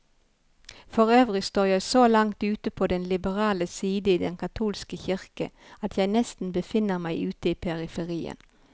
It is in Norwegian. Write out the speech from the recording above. Forøvrig står jeg så langt ute på den liberale side i den katolske kirke, at jeg nesten befinner meg ute i periferien.